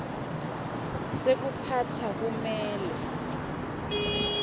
sekuphatsa kumele